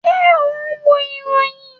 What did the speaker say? Ṣé o n wo ìròyìn?